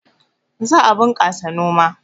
Za a bunƙasa noma